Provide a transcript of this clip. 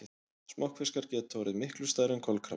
Smokkfiskar geta orðið miklu stærri en kolkrabbar.